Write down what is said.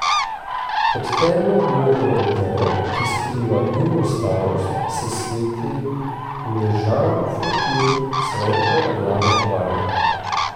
Pod temno modro odejo, ki skriva njuno starost, se sveti uležan frotir svetlo rjave barve.